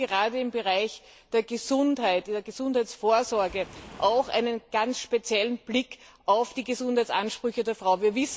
Wir brauchen gerade im Bereich der Gesundheitsvorsorge auch einen ganz speziellen Blick auf die Gesundheitsansprüche der Frau.